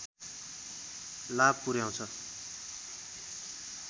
लाभ पुर्‍याउँछ